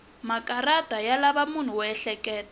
makarata ya lava munhu wo ehleketa